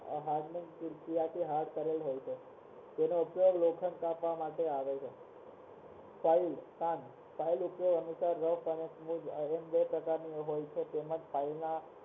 તેનો ઉપયોગ લોખંડ કાપવા માટે થાય છે